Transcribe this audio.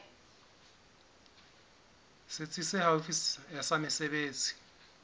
setsi se haufi sa mesebetsi